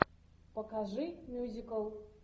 покажи мюзикл